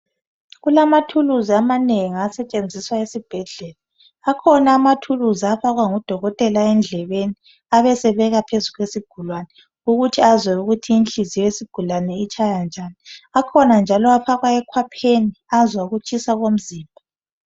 Kulamathuluzi amanengi asetshenjiswa esibhedlela ,akhona amathuluzi afakwa ngodolotela endlebeni abesebeka phezu kwesigulane ukuthi azwe inhliziyo yesigulani ukuthi itshaya njani, akhona njalo afakwa ekhwapheni azwe ukutshisa komzimba.